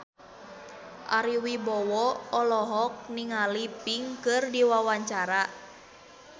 Ari Wibowo olohok ningali Pink keur diwawancara